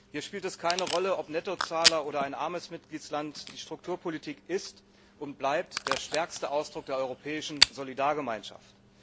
Hier spielt es keine Rolle, ob Nettozahler oder ein armes Mitgliedsland, die Strukturpolitik ist und bleibt der stärkste Ausdruck der europäischen Solidargemeinschaft.